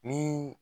Ni